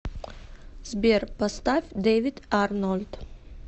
сбер поставь дэвид арнольд